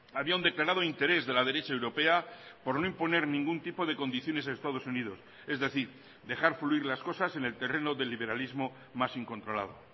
había un declarado interés de la derecha europea por no imponer ningún tipo de condiciones a estados unidos es decir dejar fluir las cosas en el terreno de liberalismo más incontrolado